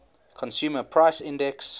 consumer price index